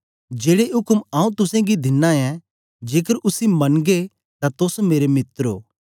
जेड़े उक्म आऊँ तुसेंगी दिना ऐं जेकर उसी मनंगे तां तोस मेरे मित्र ओ